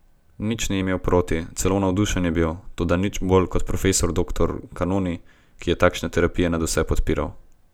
Nič ni imel proti, celo navdušen je bil, toda nič bolj kot profesor doktor Kanoni, ki je takšne terapije nadvse podpiral.